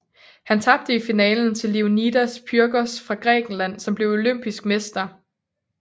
Han tabte i finalen til Leonidas Pyrgos fra Grækenland som blev olympisk mester